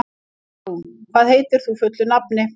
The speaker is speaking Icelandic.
Álfrún, hvað heitir þú fullu nafni?